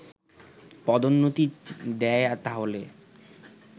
পদোন্নতি দেয় তাহলে